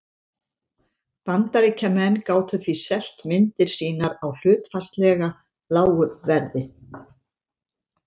Bandaríkjamenn gátu því selt myndir sínar á hlutfallslega lágu verði.